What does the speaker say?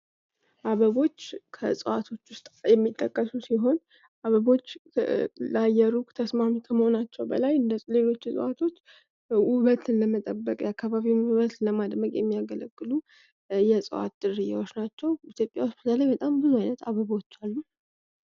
አበቦች ከእጽዋቶች ውስጥ የሚጠቀሱ ሲሆን አበቦች ለአየሩ ተስማሚ ከመሆናቸው በላይ እንደሌሎች እጽዋቶች ውበትን ለመጠበቅ ያካባቢውን ዉበት ለማድመቅ የሚያገለግሉ እጽዋት ዝርያዎች ናቸው። ኢትዮጵያ በተለይ በጣም ብዙ አይነት አበቦች አሉ።